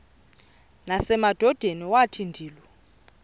nasemadodeni wathi ndilu